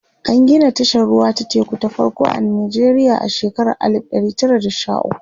an Gina tashar ruwa ta teku ta farko a Nijeriya a shekara alif ɗari Tara da Sha ukwu